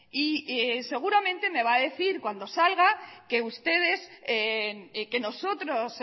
y seguramente me va a decir cuando salga que ustedes que nosotros